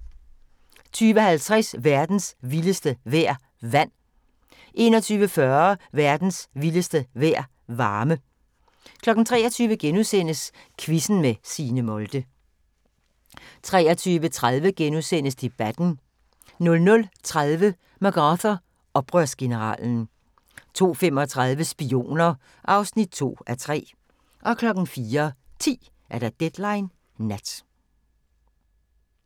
20:50: Verdens vildeste vejr – vand 21:40: Verdens vildeste vejr – varme 23:00: Quizzen med Signe Molde * 23:30: Debatten * 00:30: MacArthur – Oprørsgeneralen 02:35: Spioner (2:3) 04:10: Deadline Nat